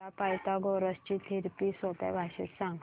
मला पायथागोरस ची थिअरी सोप्या भाषेत सांग